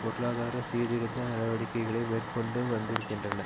பொருளாதார சீர்திருத்த நடவடிக்கைகளை மேற்கொண்டு வந்திருக்கின்றன